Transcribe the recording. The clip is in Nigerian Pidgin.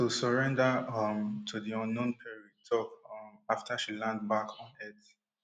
we surrender[um] to di unknown perry tok um afta she land back on earth